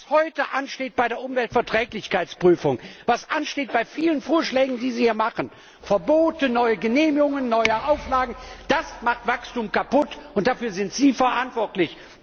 Was heute ansteht bei der Umweltverträglichkeitsprüfung, was ansteht bei vielen Vorschlägen, die Sie hier machen Verbote, neue Genehmigungen, neue Auflagen das macht Wachstum kaputt, und dafür sind Sie verantwortlich.